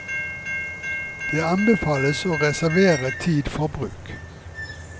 Det anbefales å reservere tid for bruk.